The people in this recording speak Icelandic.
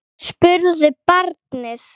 spurði barnið.